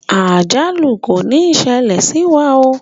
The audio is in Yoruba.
Àjálù kò ní ṣẹlẹ̀ sí wa oo.